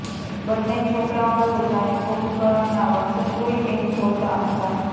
બંને છોકરાંઓ તો જાણે કુંભકર્ણના વંશજ હોય એમ ઘોરતાં હતાં